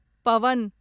Pawan